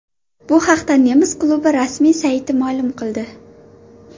Bu haqda nemis klubi rasmiy sayti ma’lum qildi .